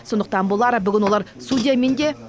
сондықтан болар бүгін олар судьямен де